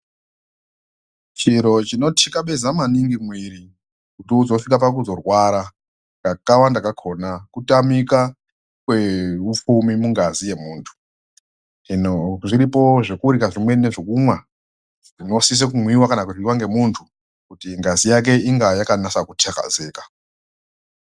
Chiro chino tikabeza maningi muviri kuti uzosvika paku zorwara kakawanda kakona kutamika kweupfumi mungazi yemuntu. Hino zviripo zvekurya zvimweni ndezve kunwa zvinosise kunwiva kana kuryive nemuntu kuti ngazi yake inga yakanase kutakazeka.